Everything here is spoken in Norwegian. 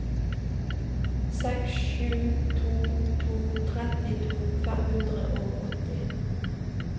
seks sju to to trettito fem hundre og åtti